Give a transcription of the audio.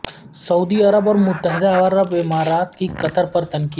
سعودی عرب اور متحدہ عرب امارات کی قطر پر تنقید